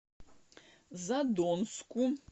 задонску